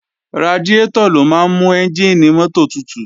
Radiátọ̀ ló máa ń mú ẹ́njìnì mọ́tò tutù